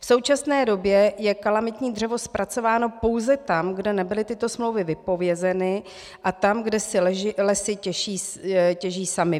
V současné době je kalamitní dřevo zpracováno pouze tam, kde nebyly tyto smlouvy vypovězeny, a tam, kde si Lesy těží samy.